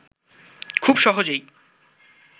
খুব সহজেই